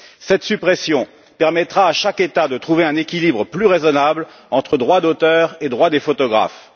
Cette suppression permettra à chaque État de trouver un équilibre plus raisonnable entre le droit d'auteur et le droit des photographes.